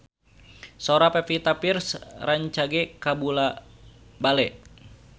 Sora Pevita Pearce rancage kabula-bale